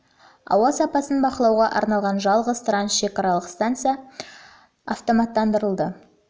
ауа сапасын бақылауға арналған жалғыз трансшекаралық станция реконструкцияланды және автоматтандырылды